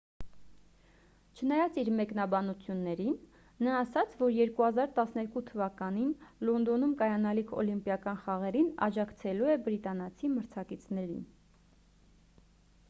չնայած իր մեկնաբանություններին նա ասաց որ 2012 թվականին լոնդոնում կայանալիք օլիմպիական խաղերին աջակցելու է բրիտանացի մրցակիցներին